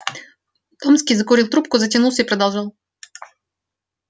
томский закурил трубку затянулся и продолжал